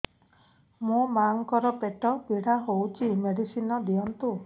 ମୋ ମାଆଙ୍କର ପେଟ ପୀଡା ହଉଛି ମେଡିସିନ ଦିଅନ୍ତୁ